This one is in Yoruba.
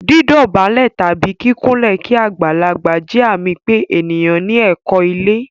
Dídọ̀bálẹ̀ tàbí kíkúnlẹ̀ kí agbàlagbà jẹ́ àmì pé ènìyàn ní ẹ̀kọ́ ilé.